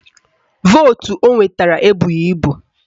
Vootu o nwetara ebughi ibu